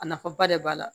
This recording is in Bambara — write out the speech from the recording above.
A nafa ba de b'a la